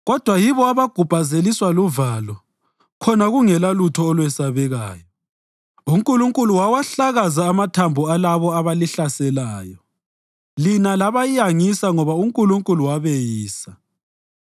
Kodwa yibo abagubhazeliswa luvalo khona kungelalutho olwesabekayo. UNkulunkulu wawahlakaza amathambo alabo abalihlaselayo; lina labayangisa ngoba uNkulunkulu wabeyisa.